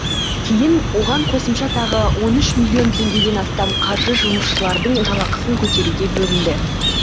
кейін оған қосымша тағы он үш миллион теңгеден астам қаржы жұмысшылардың жалақысын көтеруге бөлінді